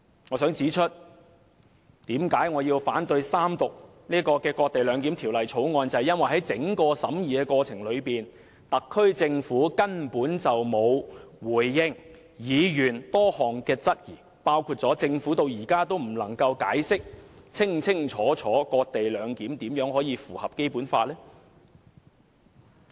我想指出為何我要反對三讀這項"割地兩檢"的《條例草案》，那是因為在整個審議的過程中，特區政府根本沒有回應議員的多項質詢，包括政府至今仍未能清楚解釋"割地兩檢"如何符合《基本法》。